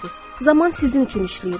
Zaman sizin üçün işləyir.